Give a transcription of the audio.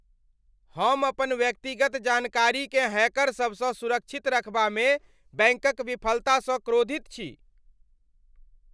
हम अपन व्यक्तिगत जानकारीकेँ हैकरसभसँ सुरक्षित रखबामे बैंकक विफलतासँ क्रोधित छी।